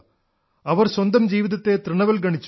അവർ സ്വന്തം ജീവിതത്തെ തൃണവത്ഗണിച്ചു